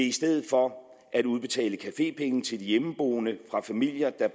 i stedet for at udbetale cafépenge til de hjemmeboende fra familier der